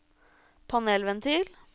panelventil